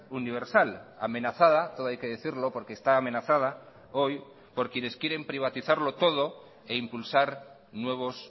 universal amenazada todo hay que decirlo porque está amenazada hoy por quienes quieren privatizarlo todo e impulsar nuevos